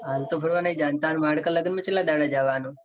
હાલ તો ફરવા નહિ તાર માડકા લગન માં કેટલા દાડા જવા નું?